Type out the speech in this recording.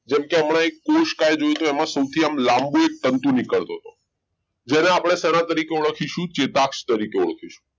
જેમકે હમણાં અહીં કોષકાય જોયું હતું એમાં સૌથી એક લાંબુ તંતુ નીકળતું હતું જેને આપણે સેના તરીકે ઓળખીશું ચેતાક્ષ તરીકે ઓળખીશું